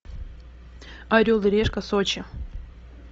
орел и решка сочи